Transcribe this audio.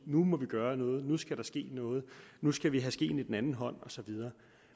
nu må vi gøre noget nu skal der ske noget nu skal vi tage skeen i den anden hånd og så videre